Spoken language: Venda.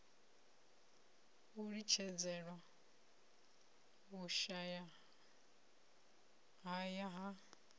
na u litshedzelwa vhushayahaya ha